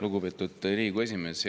Lugupeetud Riigikogu esimees!